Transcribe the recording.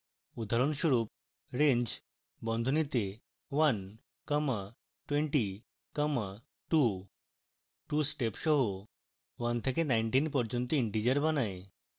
উদাহরণস্বরূপ: range বন্ধনীতে one comma twenty comma two 2 step সহ 1 থেকে 19 পর্যন্ত integers বানায়